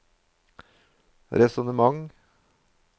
resonnementer